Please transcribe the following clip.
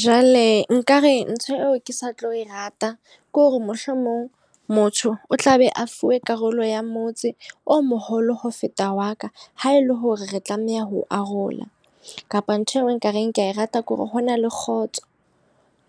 Jwale nka re ntho eo ke sa tlo e rata ko re mohlomong motho o tla be a fuwe karolo ya motse o moholo ho feta wa ka. Ha e le hore re tlameha ho arola, kapa ntho ekareng ke a e rata kore ho na le kgotso.